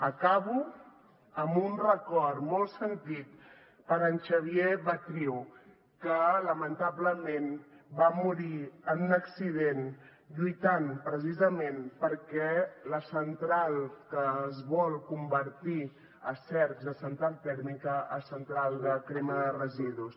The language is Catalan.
acabo amb un record molt sentit per en xavier batriu que lamentablement va morir en un accident lluitant precisament contra la central que es vol convertir a cercs de central tèrmica a central de crema de residus